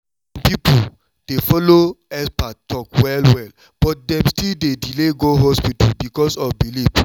some people dey follow expert talk well well but dem still dey delay go hospital because of belief.